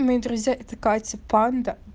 мои друзья это катя панда